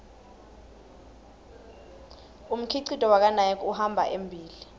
umkhicito wakanike uhamba embile